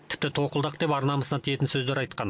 тіпті тоқылдақ деп ар намысына тиетін сөздер айтқан